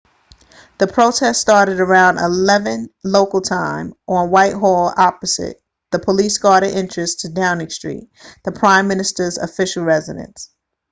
the protest started around 11:00 local time utc+1 on whitehall opposite the police-guarded entrance to downing street the prime minister's official residence